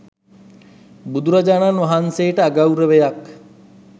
බුදුරජාණන් වහන්සේට අගෞරවයක්.